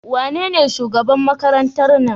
Wanene shugaban Makarantar nan?